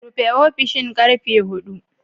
Rufe ofishin karfe hudu